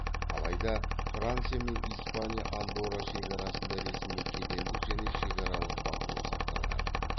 алайда франция және испания андорра шекарасында ресми кедендік және шекаралық бақылау сақталған